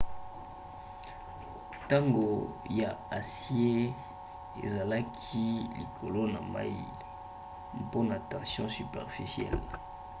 tonga ya acier ezalaki likolo ya mai mpona tension superficielle